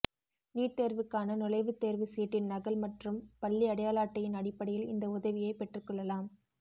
NEET தேர்வுக்கான நுழைவுத் தேர்வுச் சீட்டின் நகல் மற்றும் பள்ளி அடையாள அட்டையின் அடிப்படையில் இந்த உதவியை பெற்றுக் கொள்ளலாம்